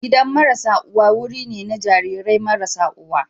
Gidan marasa uwa wuri ne na jarirai marasa uwa.